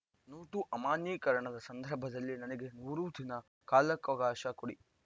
note ಅಮಾನ್ಯೀಕರಣದ ಸಂದರ್ಭದಲ್ಲಿ ನನಗೆ ನೂರು ದಿನ ಕಾಲಾವಕಾಶ ಕೊಡಿ